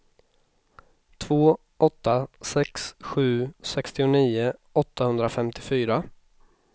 två åtta sex sju sextionio åttahundrafemtiofyra